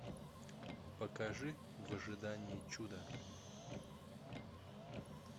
покажи в ожидании чуда